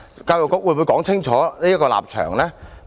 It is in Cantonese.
教育局會否清楚表明立場？